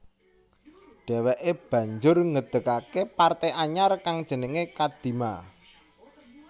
Dheweke banjur ngedegake parte anyar kang jenengé Kadima